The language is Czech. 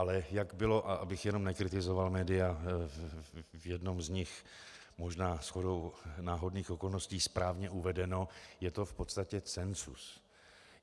Ale jak bylo, a abych jenom nekritizoval média, v jednom z nich možná shodou náhodných okolností správně uvedeno, je to v podstatě cenzus.